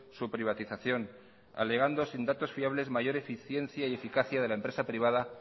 su privatización alegando sin datos fiables mayor eficiencia y eficacia de la empresa privada